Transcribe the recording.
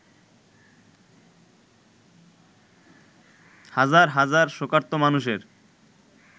হাজার হাজার শোকার্ত মানুষের